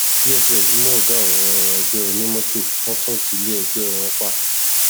dss mú ọgá àwọn ẹgbẹ onímọtò wọn tún tilé ẹgbẹ wọn pa